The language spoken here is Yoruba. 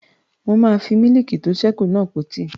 Mo máa fi mílìkì tó sẹ́ kù náà po tíì